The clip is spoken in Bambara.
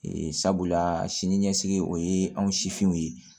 Ee sabula sini ɲɛsigi o ye anw sifinw ye